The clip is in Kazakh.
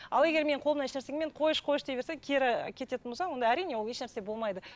ал егер менің қолымнан ешнәрсе мен қойшы қойшы дей берсең кері кететін болсаң онда әрине ол ешнәрсе болмайды